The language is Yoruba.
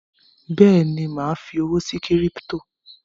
Bẹ́ẹ̀ni, mà á fi owó sí kírípítò